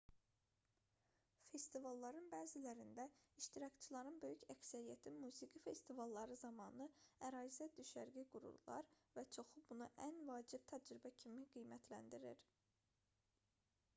festivalların bəzilərində iştirakçıların böyük əksəriyyəti musiqi festivalları zamanı ərazidə düşərgə qururlar və çoxu bunu ən vacib təcrübə kimi qiymətləndirir